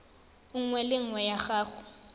nngwe le nngwe ya go